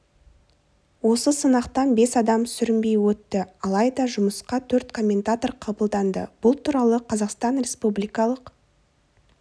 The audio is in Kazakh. осы сынақтан бес адам сүрінбей өтті алайда жұмысқа төрт комментатор қабылданды бұл туралы қазақстан республикалық